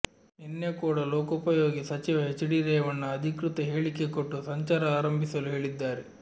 ನಿನ್ನೆ ಕೂಡ ಲೋಕೋಪಯೋಗಿ ಸಚಿವ ಹೆಚ್ಡಿ ರೇವಣ್ಣ ಅಧಿಕೃತ ಹೇಳಿಕೆ ಕೊಟ್ಟು ಸಂಚಾರ ಆರಂಭಿಸಲು ಹೇಳಿದ್ದಾರೆ